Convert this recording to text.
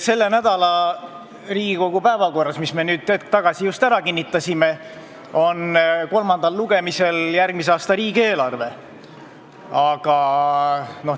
Selle nädala päevakorras, mille me hetk tagasi ära kinnitasime, on kolmandal lugemisel järgmise aasta riigieelarve.